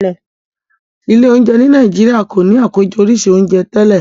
Ilé oúnjẹ ní Nàìjíríà kò ní Àkójọ oríṣi oúnjẹ tẹlẹ.